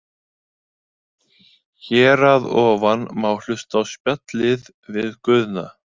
Hér að ofan má hlusta á spjallið við Guðna.